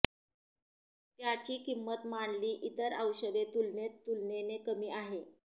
त्याची किंमत मांडली इतर औषधे तुलनेत तुलनेने कमी आहे